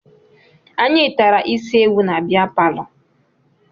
Anyị tara isi ewu na bea palọ